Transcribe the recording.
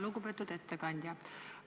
Lugupeetud ettekandja!